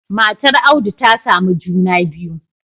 Matar audu ta samu juna biyu